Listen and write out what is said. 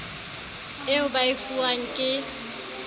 eo ba e fuwang ke